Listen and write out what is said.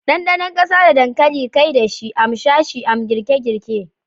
Dandanon kasa da dankali kai dashi, a m sashi a m girke-girke.